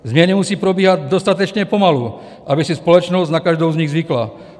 Změny musí probíhat dostatečně pomalu, aby si společnost na každou z nich zvykla.